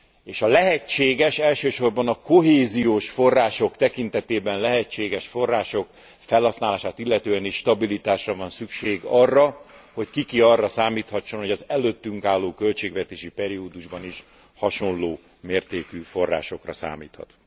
és a lehetséges, elsősorban a kohéziós források tekintetében lehetséges források felhasználását illetően is stabilitásra van szükség, arra, hogy ki ki arra számíthasson, hogy az előttünk álló költségvetési periódusban is hasonló mértékű forrásokra számíthat.